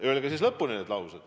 Öelge siis oma laused lõpuni.